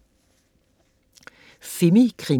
Femikrimi